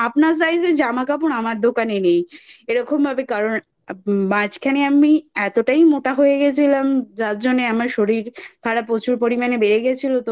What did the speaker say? আপনার Size এর জামাকাপড় আমার দোকানে নেই এরকমভাবে কারণ মাঝখানে আমি এতটাই মোটা হয়ে গেছিলাম যার জন্যে আমার শরীর খারাপ প্রচুর পরিমানে বেড়ে গেছিলো তো